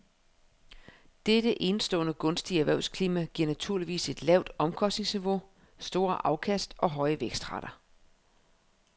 Dette enestående gunstige erhvervsklima giver naturligvis et lavt omkostningsniveau, store afkast og høje vækstrater.